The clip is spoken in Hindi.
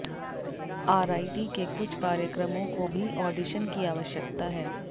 आरआईटी के कुछ कार्यक्रमों को भी ऑडिशन की आवश्यकता है